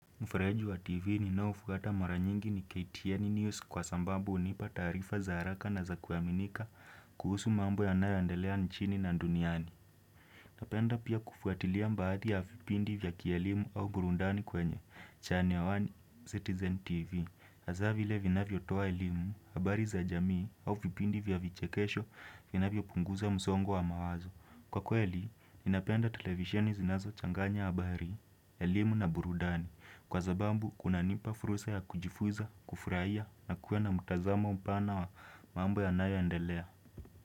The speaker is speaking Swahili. Mfareju wa TV ninaoufuata mara nyingi ni KTN News kwa sambambu hunipa taarifa za haraka na za kuaminika kuhusu mambo yanayo andelea nchini na nduniani. Napenda pia kufuatilia mbaadi ya vipindi vya kielimu au burundani kwenye. Channel One Citizen TV. Haza vile vinavyo toa elimu, habari za jamii au vipindi vya vichekesho vinavyo punguza msongo wa mawazo. Kwa kweli, ninapenda televisheni zinazo changanya habari, elimu na burundani. Kwa zabambu, kuna nipa fursa ya kujifuza, kufurahia na kuwa na mtazamo mpana wa mambo yanayo endelea.